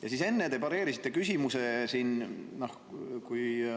Ja enne te pareerisite siin ühe küsimuse.